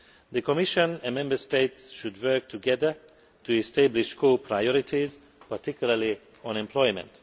The Commission and Member States should work together to establish core priorities, particularly on employment.